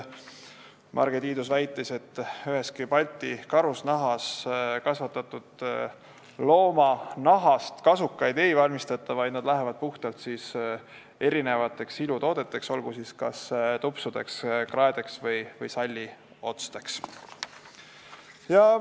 Marge Tiidus väitis, et ühestki Balti Karusnahas kasvatatud looma nahast kasukaid ei valmistata, need lähevad puhtalt ilutoodete, kas tupsude, kraede või salliotste tootmiseks.